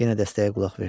Yenə dəstəyə qulaq verdi.